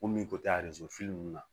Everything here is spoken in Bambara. Ko min ko tɛ ninnu na